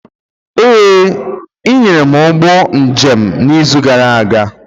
Ee, ị nyere m ụgbọ njem n'izu gara aga.